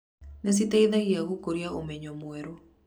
Nĩ citeithagia gũkũria ũmenyo mwerũ.